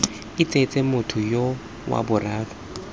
itsese motho yoo wa boraro